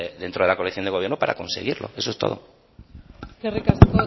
dentro de la coalición de gobierno para conseguirlo eso es todo eskerrik asko otero